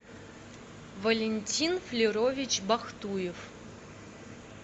валентин флюрович бахтуев